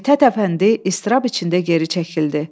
Mithət Əfəndi istirab içində geri çəkildi.